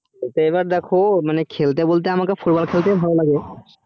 এবার দেখো খেলতে বলতে আমাকে football খেলতে ভালো লাগে